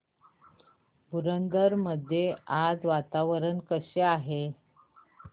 पुरंदर मध्ये आज वातावरण कसे आहे